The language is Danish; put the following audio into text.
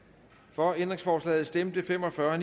for ændringsforslaget stemte fem og fyrre